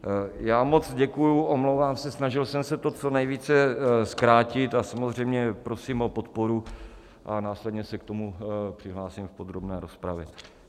Já moc děkuji, omlouvám se, snažil jsem se to co nejvíc zkrátit, a samozřejmě prosím o podporu a následně se k tomu přihlásím v podrobné rozpravě.